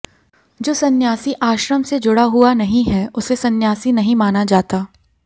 जो संन्यासी आश्रम से जुड़ा हुआ नहीं है उसे संन्यासी नहीं माना जाता